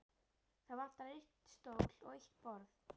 Það vantar einn stól og eitt borð.